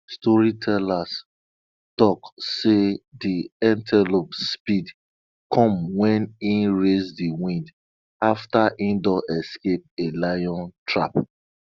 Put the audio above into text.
storytellers talk say de antelope speed come wen e race de wind after e don escape a lion trap